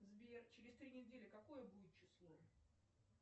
сбер через три недели какое будет число